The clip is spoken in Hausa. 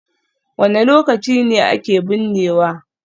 Wane lokaci ne ake binnewa?